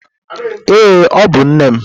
Ee, ọ bụ nne m.